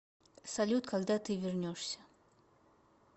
салют когда ты вернешься